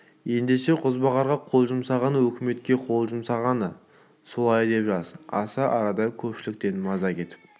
ендеше қозбағарға қол жұмсағаны өкіметке қол жұмсағаны солай деп жаз осы арада көпшіліктен маза кетіп